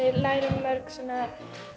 lærum mörg svona